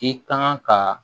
I kan ka